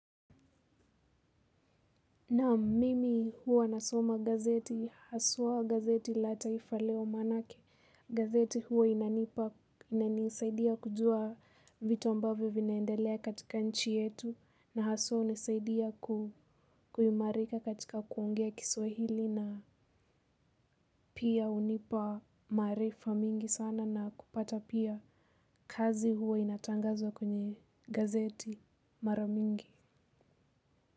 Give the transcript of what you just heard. Naam, mimi huwa nasoma gazeti, haswa gazeti la taifa leo maanake. Gazeti huwa inanipa, inanisaidia kujua vitu ambavyo vinaendelea katika nchi yetu na haswa hunisaidia kuimarika katika kuongea Kiswahili na pia hunipa maarifa mingi sana na kupata pia kazi huwa inatangazwa kwenye gazeti mara mingi.